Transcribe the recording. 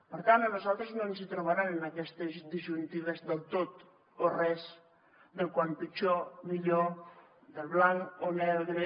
per tant a nosaltres no ens hi trobaran en aquestes disjuntives del tot o res del com pitjor millor del blanc o negre